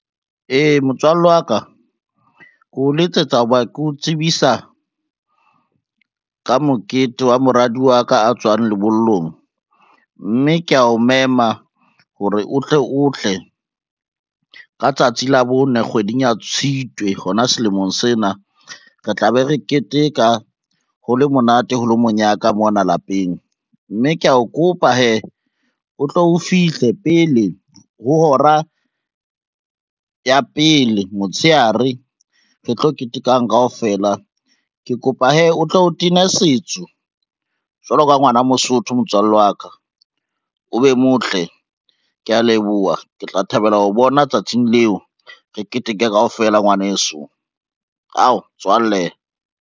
Ee, motswalle wa ka, ke o letsetsa ho ba ke o tsebisa ka mokete wa moradi wa ka a tswang lebollong, mme kea o mema hore o tle o tle ka tsatsi la bone, kgweding ya Tshitwe hona selemong sena. Re tlabe re keteka ho le monate ho lo monyaka mona lapeng, mme kea o kopa hee, o tlo o fihle pele ho hora ya pele motshehare re tlo ketekang kaofela, ke kopa hee o tlo o tena setso jwalo ka ngwana Mosotho motswallle wa ka, o be motle. Kea leboha, ke tla thabela ho o bona tsatsing leo re keteke kaofela ngwaneso, ao motswalle.